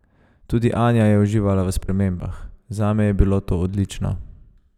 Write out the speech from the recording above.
Tudi Anja je uživala v spremembah: "Zame je bilo to odlično.